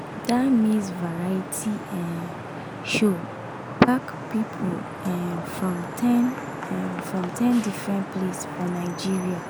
that maize variety um show pack people um from ten um from ten different place for nigeria